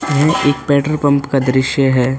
यह एक petrol pump का दृश्य है।